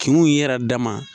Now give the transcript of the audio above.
Kinw ye yɛrɛ dama